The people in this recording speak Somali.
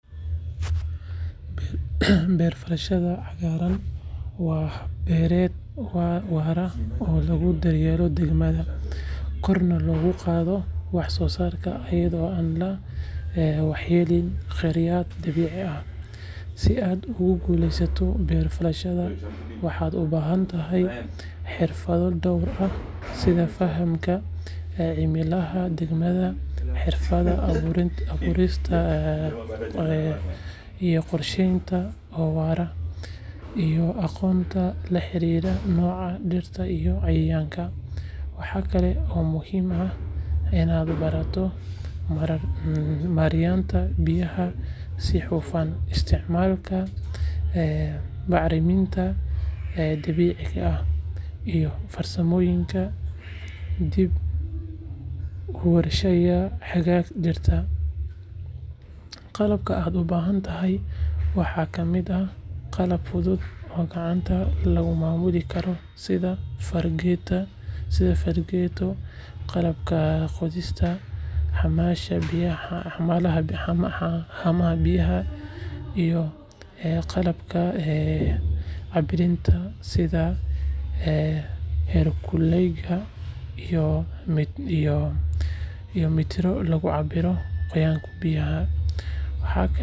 Beer-falashada cagaaran waa hab beereed waara oo lagu daryeelo deegaanka, korna loogu qaado wax-soosaarka iyadoo aan la waxyeelayn khayraadka dabiiciga ah. Si aad ugu guulaysato beer-falashadan, waxaad u baahan tahay xirfado dhowr ah sida fahamka cimilada deegaankaaga, xirfadda abuurista qorshe beereed oo waara, iyo aqoonta la xiriirta noocyada dhirta iyo cayayaanka. Waxaa kale oo muhiim ah inaad barato maaraynta biyaha si hufan, isticmaalka bacriminta dabiiciga ah, iyo farsamooyinka dib-u-warshadaynta haraaga dhirta. Qalabka aad u baahan tahay waxaa ka mid ah qalab fudud oo gacanta lagu maamulo sida fargeeto, qalabka qodista, haamaha biyaha, iyo qalabka cabbiraada sida heerkulbeegyada iyo mitirro lagu cabbiro qoyaanka biyaha.